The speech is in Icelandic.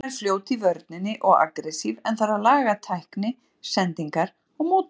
Jóna er fljót í vörninni og agressív en þarf að laga tækni, sendingar og móttöku.